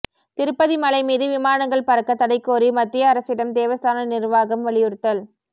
திருப்பதி மலை மீது விமானங்கள் பறக்க தடை கோரி மத்திய அரசிடம் தேவஸ்தான நிர்வாகம் வலியுறுத்தல்